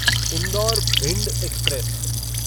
Indore Bhind express